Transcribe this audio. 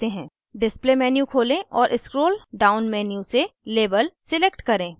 display menu खोलें और scroll down menu से label select करें